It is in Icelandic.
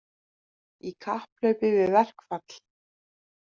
Í kapphlaupi við verkfall